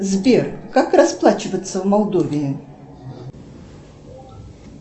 сбер как расплачиваться в молдовии